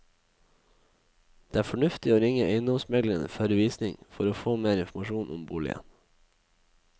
Det er fornuftig å ringe eiendomsmegleren før visning for å få mer informasjon om boligen.